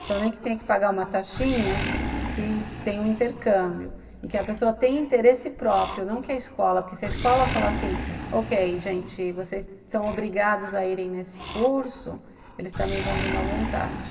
Então, nem que tenha que pagar uma taxinha, que tem um intercâmbio e que a pessoa tem interesse próprio, não que a escola, porque se a escola falar assim, ok, gente, vocês são obrigados a irem nesse curso, eles também vão de má vontade.